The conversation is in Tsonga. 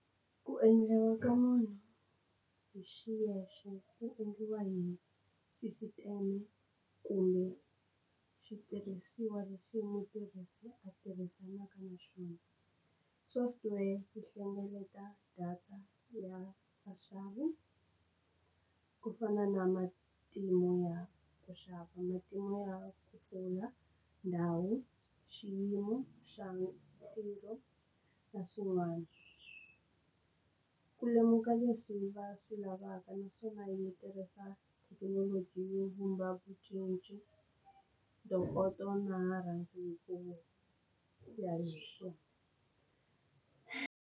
Ku endliwa ka munhu hi xiyexe wu endliwa hi sisiteme kumbe xitirhisiwa lexi mutirhisi a tirhisanaka na swona software ti hlengeleta data ya vaxavi ku fana na matimu ya ku xava matimu ya ku pfula ndhawu xiyimo xa nkhuvo na swin'wana ku lemuka leswi va swi lavaka naswona yi tirhisa thekinoloji yo vumba vu cinci ntokoto na na rhangi hi ku ya hi swona.